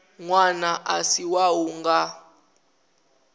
ṅwana a si wau nga